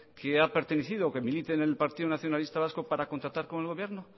que ha pertenecido o que milite en el partido nacionalista vasco para contratar con el gobierno